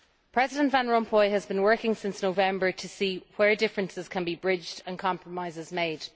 President Van Rompuy has been working since November to see where differences can be bridged and compromises made.